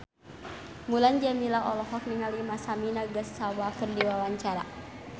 Mulan Jameela olohok ningali Masami Nagasawa keur diwawancara